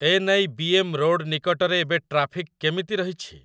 NIBM road ନିକଟରେ ଏବେ traffic କେମିତି ରହିଛି ?